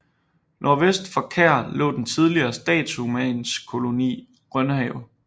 Nordvest for Kær lå den tidligere Statshusmandskoloni Rønhave